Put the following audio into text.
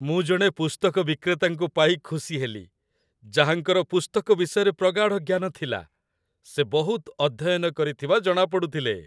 ମୁଁ ଜଣେ ପୁସ୍ତକ ବିକ୍ରେତାଙ୍କୁ ପାଇ ଖୁସି ହେଲି, ଯାହାଙ୍କର ପୁସ୍ତକ ବିଷୟରେ ପ୍ରଗାଢ଼ ଜ୍ଞାନ ଥିଲା। ସେ ବହୁତ ଅଧ୍ୟୟନ କରିଥିବା ଜଣାପଡ଼ୁଥିଲେ।